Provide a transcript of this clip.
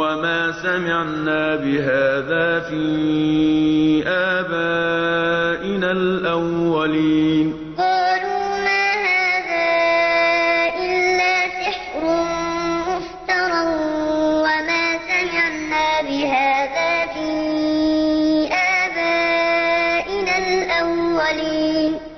وَمَا سَمِعْنَا بِهَٰذَا فِي آبَائِنَا الْأَوَّلِينَ فَلَمَّا جَاءَهُم مُّوسَىٰ بِآيَاتِنَا بَيِّنَاتٍ قَالُوا مَا هَٰذَا إِلَّا سِحْرٌ مُّفْتَرًى وَمَا سَمِعْنَا بِهَٰذَا فِي آبَائِنَا الْأَوَّلِينَ